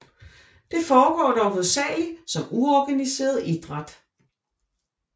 Det forgår dog hovedsageligt som uorganiseret idræt